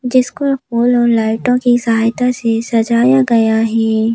जिसको फूल और लाइटों की सहायता से सजाया गया है।